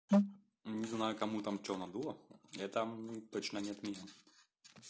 не знаю кому там что надуло это точно не отмерил